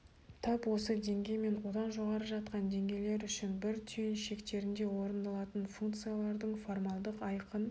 тап осы деңгей мен одан жоғары жатқан деңгейлер үшін бір түйін шектерінде орындалатын функциялардың формалдық айқын